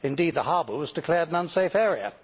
indeed the harbour was declared an unsafe area.